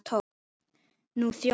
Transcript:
Nú þjónar